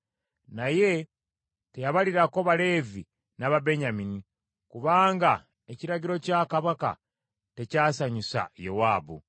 Naye teyabalirako Baleevi n’Ababenyamini, kubanga ekiragiro kya kabaka tekyasanyusa Yowaabu.